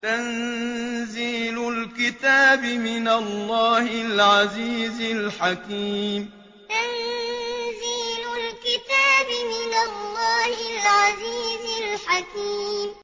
تَنزِيلُ الْكِتَابِ مِنَ اللَّهِ الْعَزِيزِ الْحَكِيمِ تَنزِيلُ الْكِتَابِ مِنَ اللَّهِ الْعَزِيزِ الْحَكِيمِ